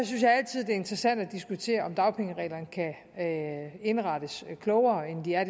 interessant at diskutere om dagpengereglerne kan indrettes klogere end de er